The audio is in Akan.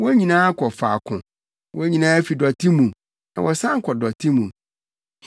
Wɔn nyinaa kɔ faako; wɔn nyinaa fi dɔte mu na wɔsan kɔ dɔte mu.